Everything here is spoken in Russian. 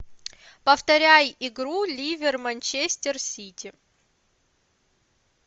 повторяй игру ливер манчестер сити